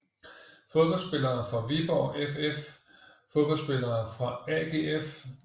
Fodboldspillere fra Viborg FF Fodboldspillere fra AGF